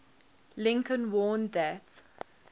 lincoln warned that